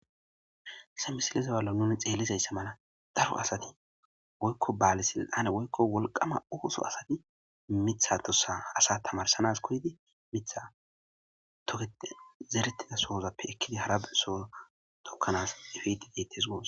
Ha misile zaballo nuni xeellizayssamana daro asati woykko baali silxane woykko wolqama ooso asati mitha tosa asa tamarsanas kodidi mitha tokete zerettida sohozappe ekkidi harabe soo tokkanas efiti deettes goos